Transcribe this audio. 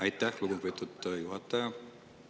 Aitäh, lugupeetud juhataja!